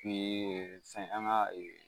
an ka